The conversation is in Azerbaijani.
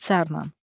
İxtisarən.